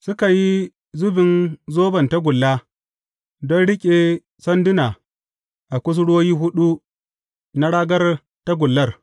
Suka yi zubin zoban tagulla don riƙe sanduna a kusurwoyi huɗu na ragar tagullar.